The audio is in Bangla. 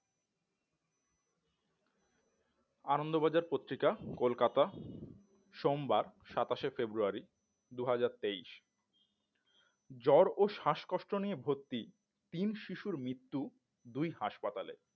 আনন্দবাজার পত্রিকা কলকাতা সোমবার সাতাশে ফেব্রুয়ারি দুহাজার তেইশ জ্বর ও শ্বাসকষ্ট নিয়ে ভর্তি তিন শিশুর মৃত্যু দুই হাসপাতালে